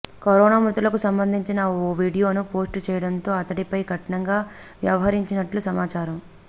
corona మృతులకు సంబంధించిన ఓ వీడియోను పోస్ట్ చేయడంతో అతడిపై కఠినంగా వ్యవహరించినట్టు సమాచారం